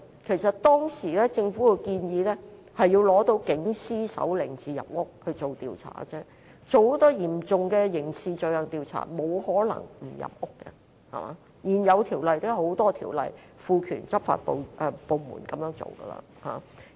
其實政府當時的建議是，要取得警司手令才能入屋進行調查，因為如要就嚴重刑事罪行進行調查是沒有可能不入屋，而且也有很多現有法例賦權執法部門這樣做。